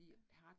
Ja